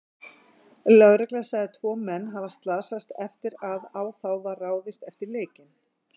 Lögregla sagði tvo menn hafa slasast eftir að á þá var ráðist eftir leikinn.